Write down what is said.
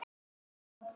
Varstu að ná í þá?